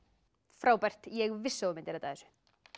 frábært ég vissi að þú myndir redda þessu